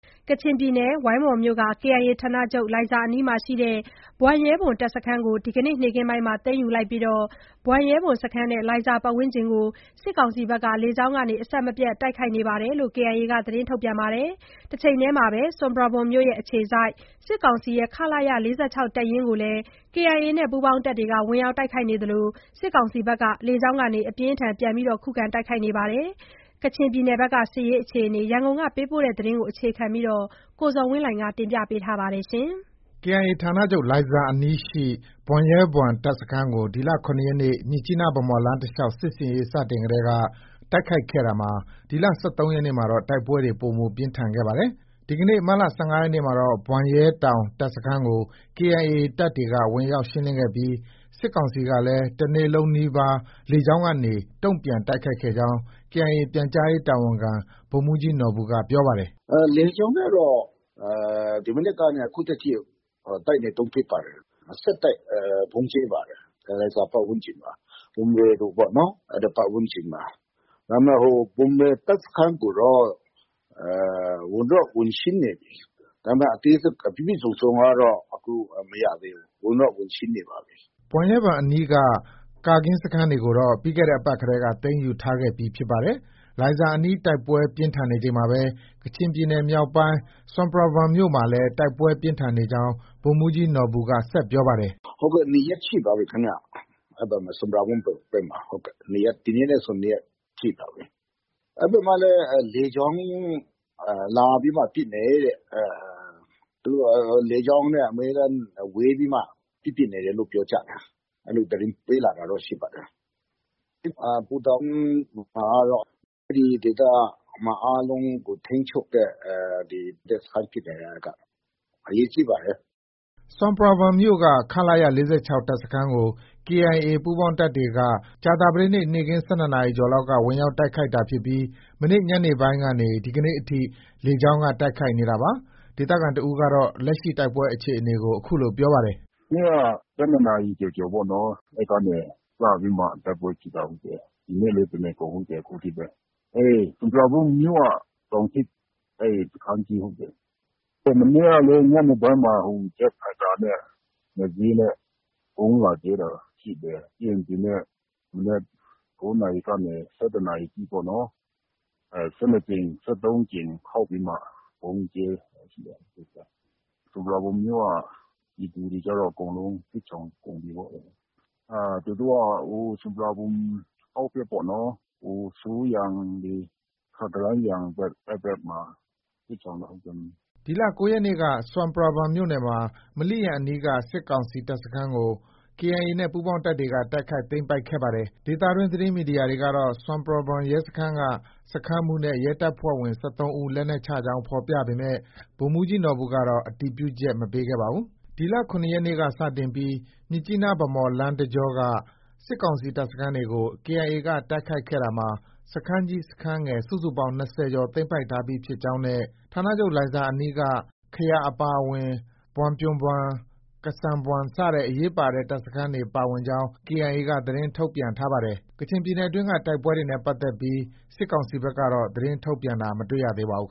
ကချင်ပြည်နယ်၊ ဝိုင်းမော်မြို့နယ်က KIA ဌာနချုပ် လိုင်ဇာအနီးရှိ ဘွမ်ရဲဘွမ် တပ်စခန်းကို ဒီနေ့ နေ့ခင်းပိုင်းမှာ သိမ်းယူလိုက်ပြီး ဘွမ်ရဲဘွမ် စခန်းနဲ့ လိုင်ဇာပတ်ဝန်းကျင်ကို စစ်ကောင်စီဘက်က လေကြောင်းကနေ အဆက်မပြတ် တိုက်ခိုက်နေကြောင်း KIA က သတင်းထုတ်ပြန်ပါတယ်။ တချိန်တည်းမှာ ဆွမ်ပရာဘွမ်မြို့ အခြေစိုက် စစ်ကောင်စီရဲ့ ခလရ ၄၆ တပ်ရင်းကို KIA နဲ့ ပူးပေါင်းတပ်တွေက ဝင်ရောက် တိုက်ခိုက်နေသလို စစ်ကောင်စီကလည်း လေကြောင်းက အပြင်းအထန် ပြန်လည် တိုက်ခိုက်နေပါတယ်။ ဒီအကြောင်း ရန်ကုန်က ပေးပို့လာတဲ့ သတင်းကို အခြေခံပြီး ကိုဇော်ဝင်းလှိုင်က တင်ပြထားပါတယ်။ KIA ဌာနချုပ် လိုင်ဇာအနီးရှိ ဘွမ်ရဲဘွမ်တပ်စခန်းကို ဒီလ ၇ရက်နေ့ မြစ်ကြီးနား-ဗန်းမော်လမ်းတလျှောက် စစ်ဆင်ရေးစတင်ကတည်းက တိုက်ခိုက်ခဲ့ရာမှာ ဒီလ ၁၃ရက်နေ့မှာတော့ တိုက်ပွဲတွေ ပိုမို ပြင်းထန်ခဲ့ပါတယ်။ ဒီကနေ့ မတ်လ ၁၅ ရက်နေ့မှာတော့ ဘွမ်ရဲတောင် တပ်စခန်းကို KIA တပ်တွေက ဝင်ရောက် ရှင်းလင်းခဲ့ပြီး စစ်ကောင်စီကလည်း တနေလုံးနီးပါး လေကြောင်းကနေ တုံပြန်တိုက်ခိုက်ခဲ့ကြောင်း KIA ပြန်ကြားရေးတာဝန်ခံ ဗိုလ်မှုးကြီး နော်ဘူက ပြောပါတယ်။ “ လေကြောင်းနဲ့တော့ ဒီမနက်ကနေ အခုထက်ထိ တိုက်နေတုန်းဖြစ်ပါတယ်။ ဆက်တိုက် ဗုံးကြဲပါတယ်။ လိုင်ဇာ ပတ်ဝန်းကျင်မှာ၊ ဘွမ်ရဲဘွမ် ပေါ့နော်၊ အဲဒီ ပတ်ဝန်းကျင်မှာ။ ဒါပေမဲ့ ဘွမ်ရဲ တပ်စခန်းကိုတော့ ဝင်တော့ ဝင်ရှင်းနေပြီ။ ဒါပေမဲ့ အသေးစိတ် ပြည့်ပြည့်စုံစုံကတော့ မရသေးဘူး။ ဝင်တော့ ဝင်ရှင်းနေပါပြီ။” ဘွမ်ရဲဘွမ် အနီးက ကာကင်းစခန်းတွေကိုတော့ ပြီးတဲ့အပတ်ကတည်းက သိမ်းယူထားခဲ့ပြီး ဖြစ်ပါတယ်။ လိုင်ဇာအနီး တိုက်ပွဲ ပြင်းထန်နေချိန်မှာပဲ ကချင်ပြည်နယ်မြောက်ပိုင်း ဆွမ်ပရာဘွမ်မြို့မှာလည်း တိုက်ပွဲ ပြင်းထန်နေကြောင်း ဗိုလ်မှုးကြီး နော်ဘူက ဆက်ပြောပါတယ်။ “ ၂ရက်ရှိပါပြီခင်ဗျ။ အဲဒီ ဆွမ်ပရာဘွမ် ဘက်မှာ၊ ဒီနေ့နဲ့ဆို ၂ရက်ရှိပါပြီ။ အဲဒီဘက်မှာလည်း လေကြောင်း လာပြီးမှ ပစ်တယ်တဲ့။ လေကြောင်းနဲ့ အမြဲတမ်း ဝဲပြီးမှ ပစ် ပစ်နေတယ်လို့ ပြောကြတယ်။ အဲလို သတင်းပေးလာတာတော့ ရှိပါတယ်။ ပူတာအိုမှာကတော့ အဲဒီဒေသ အားလုံးကို ထိန်းချုပ်တဲ့ တပ်စခန်းဖြစ်နေတာ အဲဒီက အရေးကြီးပါတယ်။ ” ဆွမ်ပရာဘွမ်မြို့က ခလရ ၄၆ တပ်စခန်းကို KIA ပူးပေါင်းတပ်ဖွဲ့တွေက ကြာသပတေးနေ့ နေ့ခင်း ၁၂နာရီကျော်လောက်က ဝင်ရောက် တိုက်ခိုက်တာဖြစ်ပြီး မနေ့ ညနေပိုင်းကနေ ဒီကနေ့အထိ လေကြောင်းက တိုက်ခိုက်နေတာပါ။ ဒေသခံတဦးကတော့ လက်ရှိ တိုက်ပွဲအခြေအနေကို အခုလို ပြောပါတယ်။ “ မနေ့က ၁၂နာရီ ကျော်ကျော်ပေါ့နော်၊ အဲဒီကတည်းက စပြီး တိုက်ပွဲဖြစ်တာ၊ ဟုတ်တယ်။ ဒီနေ့လည်း တနေကုန် ဟုတ်တယ် အခုထိပဲ။ ဆွမ်ပရာဘွမ်မြို့က တောင်ထိပ် စခန်းကြီး ဟုတ်တယ်။ မနေ့ကလည်း ညနေပိုင်းမှာ ဂျက်ဖိုက်တာနဲ့ ၂စီးနဲ့ ဗုံးလာကြဲတာရှိတယ်။ ပြီးရင်ဒီနေ့ မနက် ၉နာရီကနေ ၁၁နာရီအထိပေါ့နော် ၁၂ကြိမ်၊ ၁၃ကြိမ် ခေါက်ပြီးမှ ဗုံးကြဲတာရှိတယ်။ ဆွမ်ပရာဘွမ်မြို့က ပြည်သူတွေကတော့ အကုန်လုံး စစ်ရှောင်ကုန်ပြီပေါ့။ သူတို့က ဆွမ်ပရာဘွမ်အောက်ဖက်ပေါ့နော်။ ဆူယန်တွေ၊ ခကရန်းယန်ဘက် အဲဒီဘက်မှာ စစ်ရှောင်တာ။ ” ဒီလ ၉ရက်နေ့က ဆွမ်ပရာဘွမ်မြို့နယ်မှာ မလိယန် အနီးက စစ်ကောင်စီ တပ်စခန်းတခုကို KIA နဲ့ ပူးပေါင်းတပ်တွေက တိုက်ခိုက် သိမ်းပိုက်ခဲ့ပါတယ်။ ဒေသတွင်း သတင်းမီဒီယာတွေကတော့ ဆွမ်ပရာဘွမ် ရဲစခန်းက စခန်းမှုးနဲ့ ရဲတပ်ဖွဲ့ဝင် ၁၃ဦး လက်နက်ချကြောင်း ဖော်ပြပေမဲ့ ဗိုလ်မှုးကြီး နော်ဘူကတော့ အတည်ပြုချက် မပေးခဲ့ပါဘူး။ ဒီလ ၇ရက်နေ့က စတင်ပြီး မြစ်ကြီးနား-ဗန်းမော်လမ်းတကြောက စစ်ကောင်စီတပ်စခန်းတွေကို KIA က တိုက်ခိုက်ခဲ့ရာမှာ စခန်းကြီး၊ ငယ် စုစုပေါင်း ၂၀ကျော် သိမ်းပိုက်ထားပြီဖြစ်ကြောင်းနဲ့ ဋ္ဌာနချုပ် လိုင်ဇာအနီးက ခယာ အပါအဝင် ဘွမ်ပြန်ဘွမ်၊ ကစဲန်ဘွမ် စတဲ့အရေးပါတဲ့ တပ်စခန်းတွေ ပါဝင်ကြောင်း KIA ဘက်က သတင်းထုတ်ပြန်ထားပါတယ်။ ကချင်ပြည်နယ်တွင်း တိုက်ပွဲတွေနဲ့ပတ်သက်ပြီး စစ်ကောင်စီဘက်ကတော့ သတင်းထုတ်ပြန်တာ မတွေ့ရပါဘူး